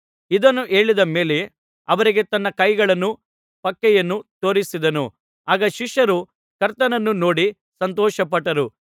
ಇದನ್ನು ಹೇಳಿದ ಮೇಲೆ ಅವರಿಗೆ ತನ್ನ ಕೈಗಳನ್ನೂ ಪಕ್ಕೆಯನ್ನೂ ತೋರಿಸಿದನು ಆಗ ಶಿಷ್ಯರು ಕರ್ತನನ್ನು ನೋಡಿ ಸಂತೋಷಪಟ್ಟರು